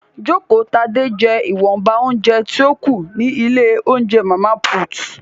Jokotade jẹ́ ìwọ̀nba óúnjẹ tí ó kù ní ilé óúnjẹ Màmá Put